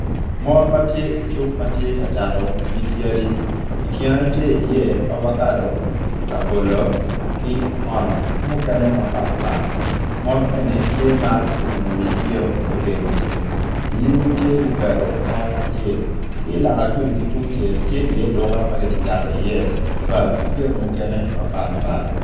Mon ma tye i cuk ma tye ka cato nyig yadi i kine tye iye ovakado labolo ki okono ki mukene mapat pat mon eni gitye ma gu umu wigio me gengo ceng inyimmgi tye guketo kom acel ki loka gudi tungcel tye iye duka ma gitye ka cato iye bag ki jami mukene mapat pat